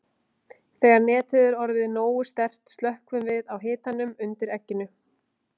Þegar netið er orðið nógu sterkt slökkvum við á hitanum undir egginu.